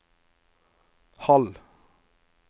halv